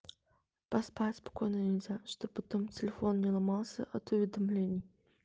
поспать спокойно нельзя чтобы потом телефон не ломался от уведомлений